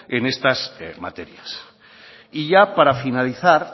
en estas materias y ya para finalizar